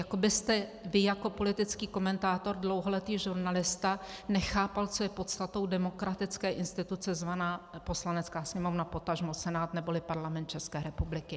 Jako byste vy jako politický komentátor, dlouholetý žurnalista, nechápal, co je podstatou demokratické instituce zvané Poslanecká sněmovna, potažmo Senát, neboli Parlament České republiky.